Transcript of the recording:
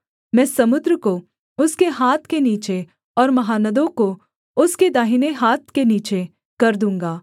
मैं समुद्र को उसके हाथ के नीचे और महानदों को उसके दाहिने हाथ के नीचे कर दूँगा